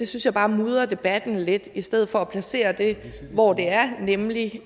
synes jeg bare mudrer debatten lidt i stedet for at placere det hvor der er nemlig